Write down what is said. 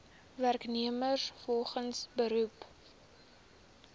werknemers volgens beroep